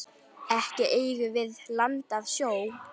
Ekki eigum við land að sjó.